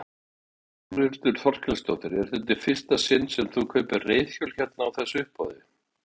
Þórhildur Þorkelsdóttir: Er þetta í fyrsta sinn sem þú kaupir reiðhjól hérna á þessu uppboði?